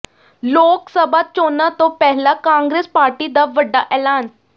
ਲੋਕ ਸਭਾ ਚੋਣਾਂ ਤੋਂ ਪਹਿਲਾਂ ਕਾਂਗਰਸ ਪਾਰਟੀ ਦਾ ਵੱਡਾ ਐਲਾਨ